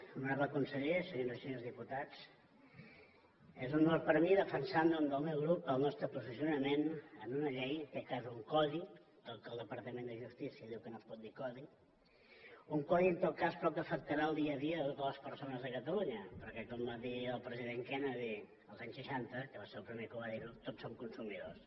honorable conseller senyores i senyors diputats és un honor per mi defensar en nom del meu grup el nostre posicionament en una llei en aquest cas un codi del qual el departament de justícia diu que no es pot dir codi un codi en tot cas però que afectarà el dia a dia de totes les persones de catalunya perquè com va dir el president kennedy els anys seixanta que va ser el primer que va dir ho tots som consumidors